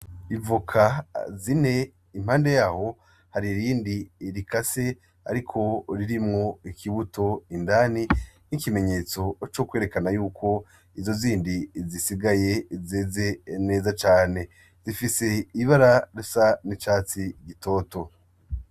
Ivoka zine impande yaho har'irindi rikase ariko ririmwo ikibuto indani nk'ikimenyetso cerekana ko izo zindi zisigaye zeze neza cane; zifise ibara ry'icatsi gitoto.